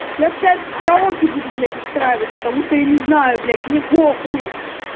я сейчас караоке буду гулять устраивать потому что я не знаю блять мне похуй